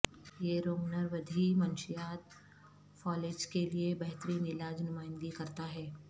یہ روگنرودھی منشیات فالج کے لئے بہترین علاج نمائندگی کرتا ہے